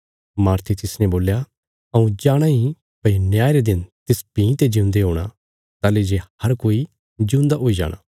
मार्थे तिसने बोल्या हऊँ जाणाँ इ भई न्याय रे दिन तिस भीं ते जिऊंदे हूणा ताहली जे हर कोई जिऊंदा हुई जाणा